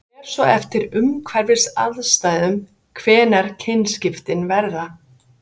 það fer svo eftir umhverfisaðstæðum hvenær kynskiptin verða